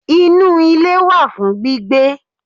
Inú ilé wà fún gbígbé